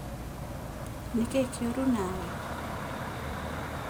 Nĩ kĩĩ kĩũru na we?